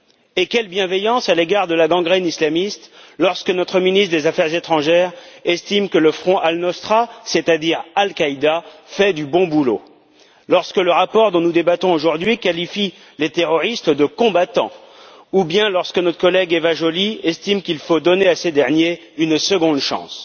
Et quelle bienveillance à l'égard de la gangrène islamiste lorsque notre ministre des affaires étrangères estime que le Front Al Nosra c'est à dire Al Qaïda fait du bon boulot, lorsque le rapport dont nous débattons aujourd'hui qualifie les terroristes de combattants ou bien lorsque notre collègue Eva Joly estime qu'il faut donner à ces derniers une seconde chance.